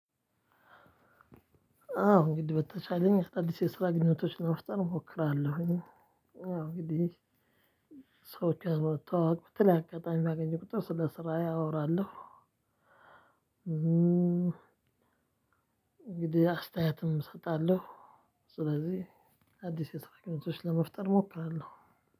አዎ እንግዲህ በተቻለኝ አዲስ የስራ ግንኙነቶችን ለመፍጠር እሞክራለሁኝ። አዎ እንግዲህ ሰዎች መተዋወቅ ብትል አጋጣሚ ባገኘው ቁጥር ስለ ስራዬ አወራለው። እንግዲህ አስተያየትም እሰጣለሁ። ስለዚህ አዲስ የሰራ ግንኙነቶች ለመፍጠር ሞክራለሁ።